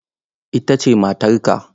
Ita ce matarka?